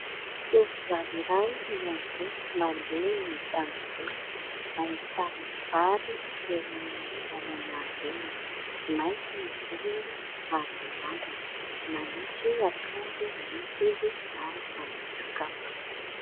Tovovavy iray miamboho mandeha eny antanim-boly. Ahitana vary eo amin'ny lalana alehany, mainty ny volony ary mirandrana, manisy akanjo maity izy ary manisy kapa.